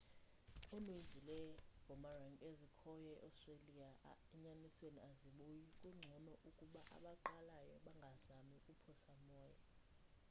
uninzi lwee-boomerang ezikhoyo e-australia enyanisweni azibuyi kungcono ukuba abaqalayo bangazami ukuphosa moya